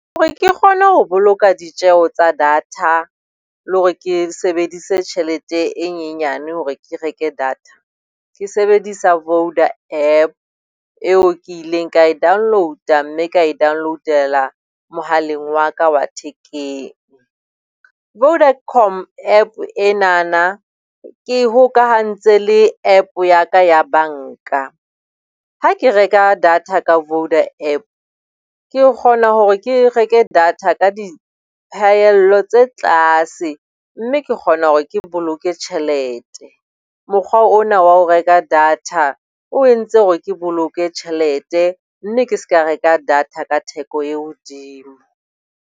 Hore ke kgone ho boloka ditjeo tsa data le hore ke sebedise tjhelete e nyenyane hore ke reke data, ke sebedisa Voda App, eo kileng ka e download-a mme ka e download-ela mohaleng wa ka wa thekeng. Vodacom App enana ke e hokahantse le App ya ka ya banka. Ha ke reka data ka Voda App, ke kgona hore ke reke data ka diphahello tse tlase mme ke kgona hore ke boloke tjhelete. Mokgwa ona wa ho reka data o entse hore ke boloke tjhelete, mme ke seka reka data ka theko e hodimo.